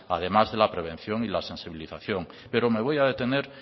además de la prevención y de la sensibilización pero me voy a detener